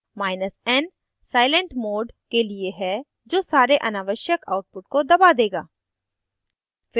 n silent mode के लिए है जो सारे अनावश्यक output को दबा देगा